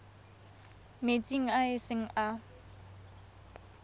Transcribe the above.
metsing a e seng a